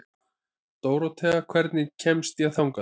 Dórothea, hvernig kemst ég þangað?